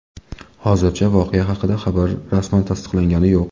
Hozircha voqea haqidagi xabar rasman tasdiqlangani yo‘q.